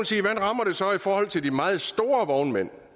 så kan forhold til de meget store vognmænd